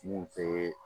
Mun tɛ